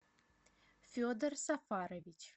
федор сафарович